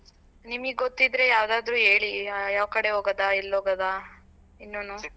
ನಿಮಿಗ್ ಗೊತ್ತಿದ್ರೆ ಯಾವ್ದಾದ್ರೂ ಹೇಳಿ ಯಾವ್ಕಡೆ ಹೋಗೋದಾ ಎಲ್ಲ್ ಹೋಗೋದಾ ಇನ್ನುನೂ.